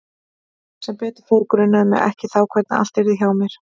Sem betur fór grunaði mig ekki þá hvernig allt yrði hjá mér.